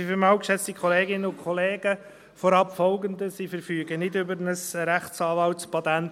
Vorab Folgendes: Ich verfüge nicht über ein Rechtsanwaltspatent.